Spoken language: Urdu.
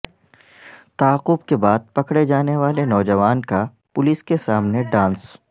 تعاقب کے بعد پکڑے جانیوالے نوجوان کا پولیس کے سامنے ڈانس